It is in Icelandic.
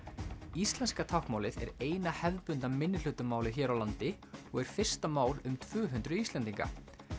íslenska táknmálið er eina hefðbundna hér á landi og er fyrsta mál um tvö hundruð Íslendinga